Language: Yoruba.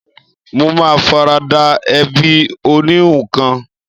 Mo ma farada ẹbí oníhun kan